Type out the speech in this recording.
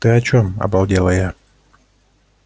ты о чём обалдела я